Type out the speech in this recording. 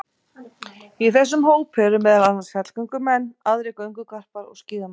Í þessum hópi eru meðal annars fjallgöngumenn, aðrir göngugarpar og skíðamenn.